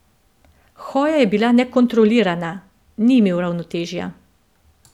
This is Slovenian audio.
Hoja je bila nekontrolirana, ni imel ravnotežja.